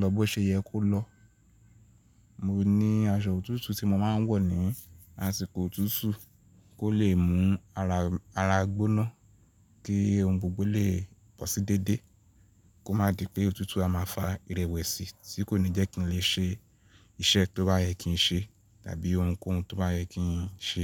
lọ bó ṣe yẹ kó lọ. Mo ní aṣọ òtútù tí mo máa ń wọ̀ ní àsìkò òtútù kó lè mú ara, ara gbóná kí ohun gbogbo lè bọ̀ sí déédéé kó má di pé òtútù a máa fa ìrẹ̀wẹ̀sì tí kò ní jẹ́ kí n lè ṣe iṣẹ́ tó bá yẹ kí n ṣe tàbí ohunkóhun tó bá yẹ kí n ṣe.